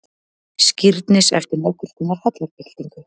Skírnis eftir nokkurskonar hallarbyltingu.